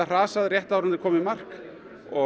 hrasað rétt áður en þeir koma í mark